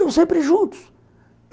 Tão sempre juntos.